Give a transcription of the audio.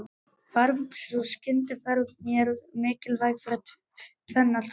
Varð sú skyndiferð mér mikilsverð fyrir tvennar sakir.